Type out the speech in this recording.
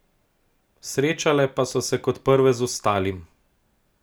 Srečale pa so se kot prve z Vstalim.